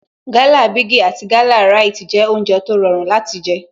Gala bigi àti Gala Rite jẹ́ oúnjẹ tó rọrùn láti jé